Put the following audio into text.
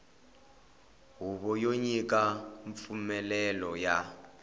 huvo yo nyika mpfumelelo ya